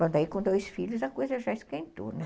Bom, daí com dois filhos a coisa já esquentou, né?